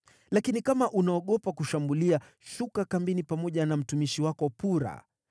Lakini kama unaogopa kushambulia, shuka kambini pamoja na mtumishi wako Pura,